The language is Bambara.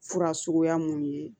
Fura suguya mun ye